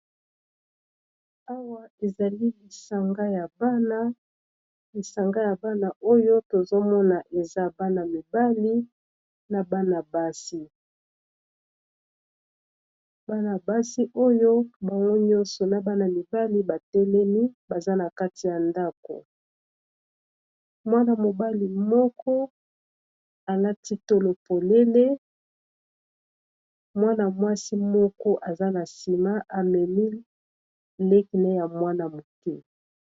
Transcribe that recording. Awa ezali lisanga ya bana oyo tozomona eza bana mibali naabsibana basi oyo bango nyonso na bana mibali batelemi baza na kati ya ndako, mwana-mobali moko alati tolo polele mwana-mwasi moko aza na nsima amemi lekene ya mwna moke.